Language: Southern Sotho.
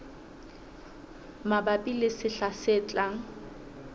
mabapi le sehla se tlang